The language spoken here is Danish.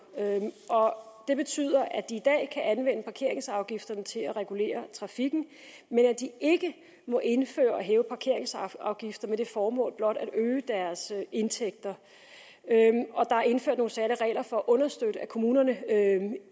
og det betyder at de i dag kan anvende parkeringsafgifterne til at regulere trafikken men at de ikke må indføre og hæve parkeringsafgifter med det formål blot at øge deres indtægter og der er indført nogle særlige regler for at understøtte at kommunerne